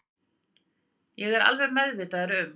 Það er ég alveg meðvitaður um